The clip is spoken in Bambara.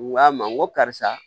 N k'a ma n ko karisa